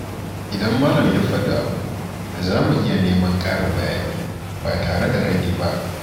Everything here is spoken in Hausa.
Idan malam ya faɗi abu, za mu iya neman ƙarin bayani ba tare da raini ba.